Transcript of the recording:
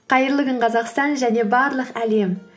қайырлы күн қазақстан және барлық әлем